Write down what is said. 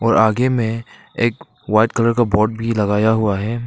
और आगे में एक वाइट कलर का बोर्ड भी लगाया हुआ है।